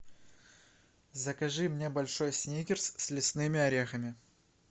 закажи мне большой сникерс с лесными орехами